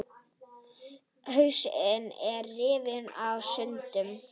Hausinn að rifna í sundur.